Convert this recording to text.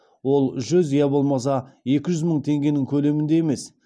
ол жүз я болмаса екі жүз мың теңгенің көлемінде емес